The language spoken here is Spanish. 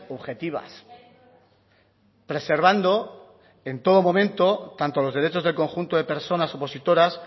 objetivas preservando en todo momento tanto los derechos del conjunto de personas opositoras